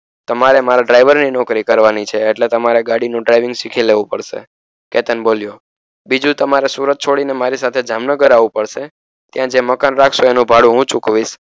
તમારે મારા ડ્રાઇવરની નોકરી કરવાની છે એટલે તમારે ગાડીનું ડ્રાઇવિંગ શીખી લેવું પડસે કેતન બોલ્યો બીજું તમારે સુરત છોડીને મારી સાથે જામનગર આવું પડસે ત્યાં જે મકાન રાખશો એનું ભાડું હું ચૂકવીશ